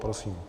Prosím.